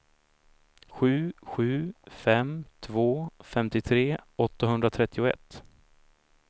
sju sju fem två femtiotre åttahundratrettioett